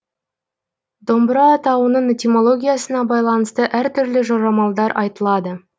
домбыра атауының этимологиясына байланысты әртүрлі жорамалдар айтылады